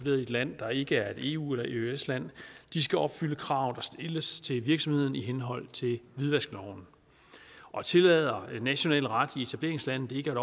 land der ikke er et eu eller eøs land skal opfylde krav der stilles til virksomheden i henhold til hvidvaskloven og tillader national ret i etableringslandet ikke